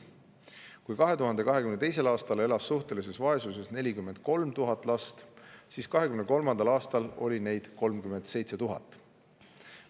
Kui 2022. aastal elas suhtelises vaesuses 43 000 last, siis 2023. aastal oli neid 37 000.